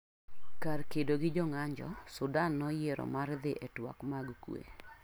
Kar kedo gi jo ng'anjo, Sudan noyiero mar dhi e twak mag kuwe.